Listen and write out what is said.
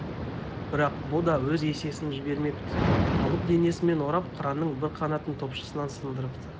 бірақ бұ да өз есесін жібермепті алып денесімен орап қыранның бір қанатын топшысынан сындырыпты